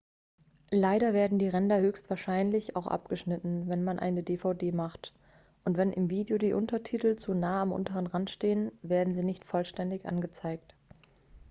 leider werden die ränder höchstwahrscheinlich auch abgeschnitten wenn man eine dvd macht und wenn im video die untertitel zu nahe am unteren rand stehen werden sie nicht vollständig angezeigt